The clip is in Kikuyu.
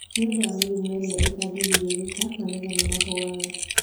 Nĩ ũndũ wa mĩrimũ ĩrĩa ĩtangĩgirĩrĩka, magetha nĩ mahũaga.